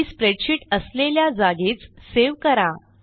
ही spreadsheet असलेल्या जागीच save करा